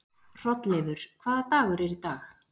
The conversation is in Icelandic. Hrolleifur, hvaða dagur er í dag?